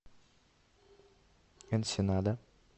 энсенада